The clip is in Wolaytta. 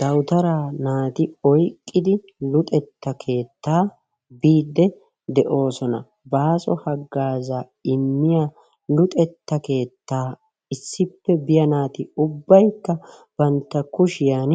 Dawuttaara naati oyqqidi luxetta keettaa biidi deosona. Baaso haggaza immiya luxeetta keettaa issippe biya naati ubbaykka bantta kushiyan